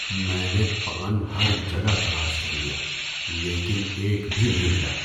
میں نے پان ہر جگہ تلاش کر لیا لیکن ایک بھی نہیں ملا۔